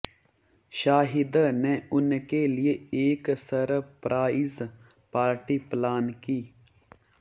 शाहिद ने उनके लिए एक सरप्राइज पार्टी प्लान की